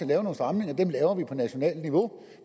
lave nogle stramninger dem laver vi på nationalt niveau